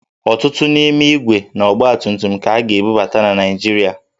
Ọtụtụ n'ime ígwè na ọgbatumtum ka a ga-ebubata na Naịjirịa